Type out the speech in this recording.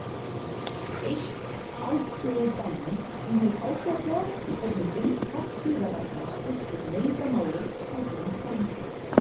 Eitt ákveðið dæmi sýnir ágætlega hvernig inntak siðareglna skiptir meira máli heldur en form þeirra.